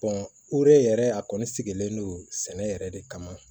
yɛrɛ a kɔni sigilen don sɛnɛ yɛrɛ de kama